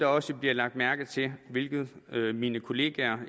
også bliver lagt mærke til hvilket mine kolleger